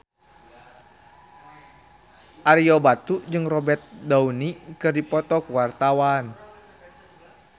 Ario Batu jeung Robert Downey keur dipoto ku wartawan